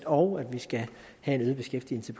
og at vi skal have en øget beskæftigelse